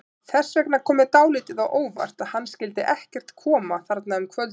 Þess vegna kom mér dálítið á óvart að hann skyldi ekkert koma þarna um kvöldið.